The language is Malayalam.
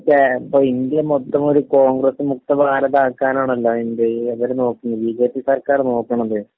അതിപ്പോ കേ...ഇന്ത്യ മൊത്തം ഒരു കോൺഗ്രസ് മുക്ത ഭാരതമാക്കാനാണല്ലോ എന്ത് ഇവര് നോക്കണത്, ബിജെപി സർക്കാർ നോക്കണത്.